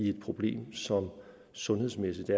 et problem som sundhedsmæssigt